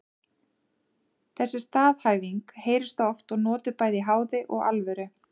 Þessi staðhæfing heyrist oft og notuð bæði í háði og alvöru.